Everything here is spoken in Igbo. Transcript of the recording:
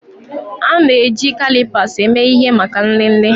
A na-eji kalipas eme ihe maka nlele